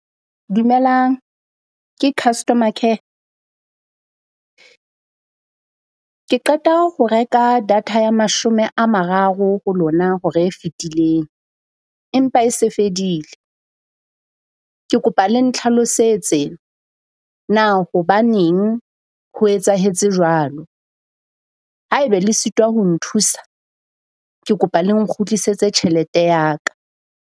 Dumelang. Ke customer care? Ke qeta ho reka data ya mashome a mararo ho lona hora e fetileng empa e se fedile. Ke kopa le ntlhalosetse na hobaneng ho etsahetse jwalo? Haebe le sitwa ho nthusa, ke kopa le nkgutlisetse tjhelete ya ka.